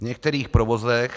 V některých provozech...